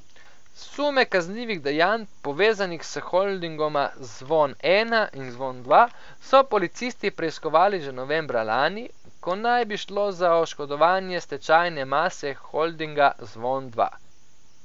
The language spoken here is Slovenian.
Sume kaznivih dejanj povezanih s holdingoma Zvon Ena in Zvon Dva so policisti preiskovali že novembra lani, ko naj bi šlo za oškodovanje stečajne mase holdinga Zvon Dva.